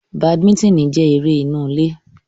Badiminitini jẹ ere inu ile